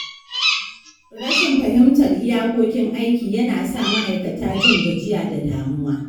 Rashin fahimtar iyakokin aiki yana sa ma’aikata jin gajiya da damuwa.